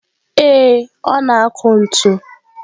Ee, ọ na-akụ ntu.